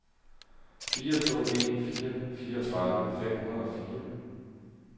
fire to en fire fireogtredive fem hundrede og fire